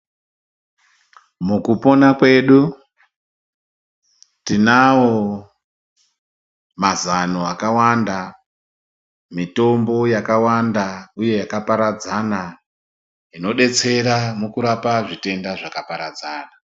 Mukupona kwedu, tinawo mazano akawanda, mitombo yakawanda uye yakaparadzana, inodetsera mukurapa zvitenda zvakaparadzana.